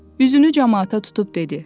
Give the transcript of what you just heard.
Üzünü camaata tutub dedi.